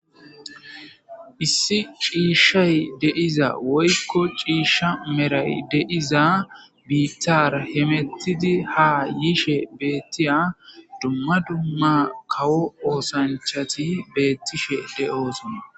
Issi ciishshay deiza woykko ciishsha meray deiza biittar hemettidi ha yiishe beettiya dumma dumma kawo oosanchati beettishe de'oosa